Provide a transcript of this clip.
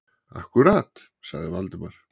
Akkúrat- sagði Valdimar.